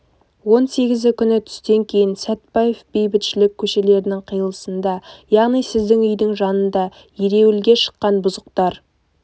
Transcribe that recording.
он сегізі күні түстен кейін сәтбаев бейбітшілік көшелерінің қиылысында яғни сіздің үйдің жанында ереуілге шыққан бұзықтар